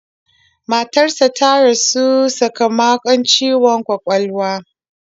Matarsa ta rasu sakamakon ciwon kwakwalwa.